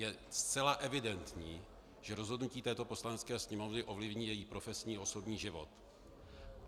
Je zcela evidentní, že rozhodnutí této Poslanecké sněmovny ovlivní její profesní osobní život.